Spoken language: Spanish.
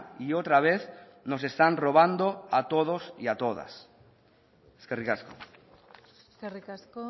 y otra vez nos están robando a todos y a todas eskerrik asko eskerrik asko